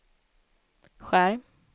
skärm